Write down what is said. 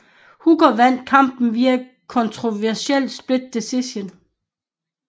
Hooker vandt kampen via kontroversiel split decision